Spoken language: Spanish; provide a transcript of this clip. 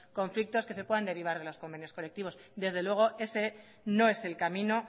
conflictos que se puedan derivar de los convenios colectivos desde luego ese no es el camino